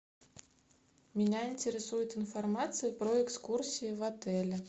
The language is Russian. меня интересует информация про экскурсии в отеле